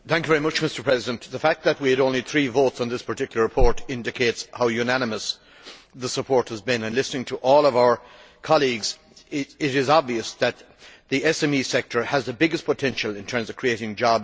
Mr President, the fact that we had only three votes on this particular report indicates how unanimous the support has been, and listening to all of our colleagues it is obvious that the SME sector has the biggest potential in terms of creating jobs.